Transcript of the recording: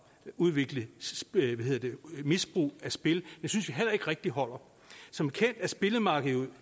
udviklet misbrug af spil synes vi heller ikke rigtig holder som bekendt er spillemarkedet jo